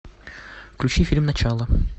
включи фильм начало